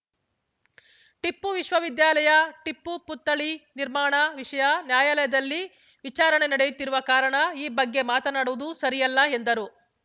ಟಿಪ್ಪು ವಿಶ್ವವಿದ್ಯಾಲಯ ಟಿಪ್ಪು ಪುತ್ಥಳಿ ನಿರ್ಮಾಣ ವಿಷಯ ನ್ಯಾಯಾಲಯದಲ್ಲಿ ವಿಚಾರಣೆ ನಡೆಯುತ್ತಿರುವ ಕಾರಣ ಈ ಬಗ್ಗೆ ಮಾತನಾಡುವುದು ಸರಿಯಲ್ಲ ಎಂದರು